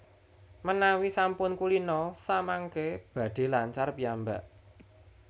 Menawi sampun kulina samangké badhé lancar piyambak